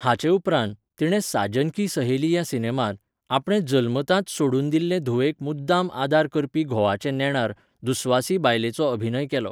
हाचे उपरांत, तिणें साजन की सहेली ह्या सिनेमांत, आपणे जल्मताच सोडून दिल्ले धुवेक मुद्दाम आदार करपी घोवाचे नेणार, दुस्वासी बायलेचो अभियन केलो.